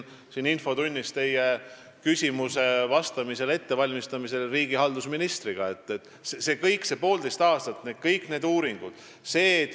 Täna hommikul teie küsimusele vastamise ettevalmistamise käigus ma vestlesin päris pikalt riigihalduse ministriga.